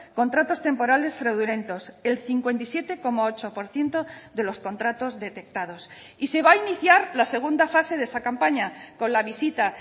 contratos temporales fraudulentos el cincuenta y siete coma ocho por ciento de los contratos detectados y se va a iniciar la segunda fase de esa campaña con la visita